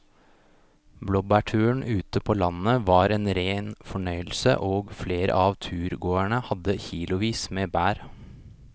Blåbærturen ute på landet var en rein fornøyelse og flere av turgåerene hadde kilosvis med bær.